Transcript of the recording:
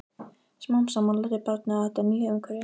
Smám saman lærði barnið á þetta nýja umhverfi.